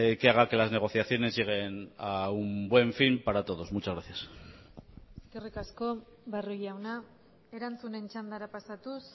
que haga que las negociaciones lleguen a un buen fin para todos muchas gracias eskerrik asko barrio jauna erantzunen txandara pasatuz